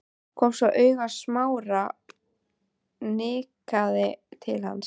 Kom svo auga á Smára og nikkaði til hans.